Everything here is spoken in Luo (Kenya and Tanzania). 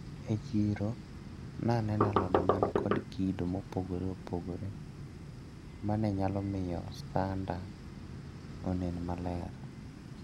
E chiro naneno alode manikod kido maopogre opogre manenyalo miyo sanda onen maber.